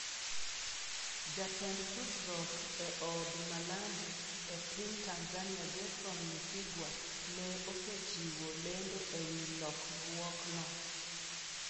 Jatend tudruok e Od Malambu e piny Tanzania, Gerson Msigwa, ne osechiwo lendo ewi lokruokno.